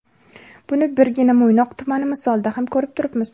Buni birgina Mo‘ynoq tumani misolida ham ko‘rib turibmiz.